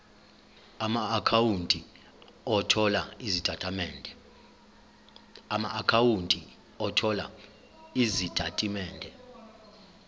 amaakhawunti othola izitatimende